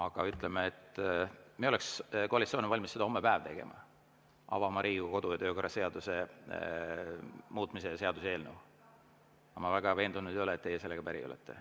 Koalitsioon oleks valmis seda hommepäev tegema, avama Riigikogu kodu‑ ja töökorra seaduse muutmise seaduse eelnõu, aga ma ei ole väga veendunud, et teie sellega päri oleksite.